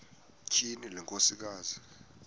tyhini le nkosikazi